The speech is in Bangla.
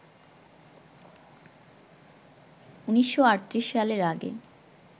১৯৩৮ সালের আগে